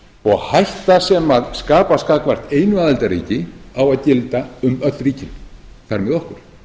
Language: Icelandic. og hætta sem skapast gagnvart einu aðildarríki á að gilda um öll ríkin þar með okkur